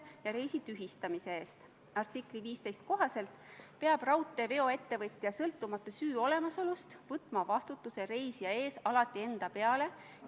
Aga teise lugemise eelnõust loen välja, et kuni 10 kaitseväelast läheb Euroopa Liidu väljaõppemissioonile ja ÜRO rahutagamismissioonile Malis.